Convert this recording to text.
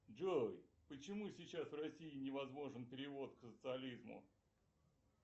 джой почему сейчас в росии невозможен перевод к социолизму